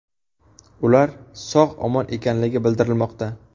Ular sog‘-omon ekanligi bildirilmoqda.